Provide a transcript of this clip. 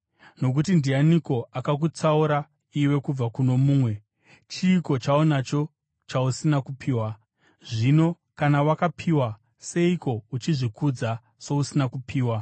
Nokuti ndianiko akakutsaura iwe kubva kuno mumwe? Chiiko chaunacho chausina kupiwa? Zvino kana wakapiwa, seiko uchizvikudza sousina kupiwa?